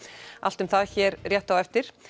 allt um það hér rétt á eftir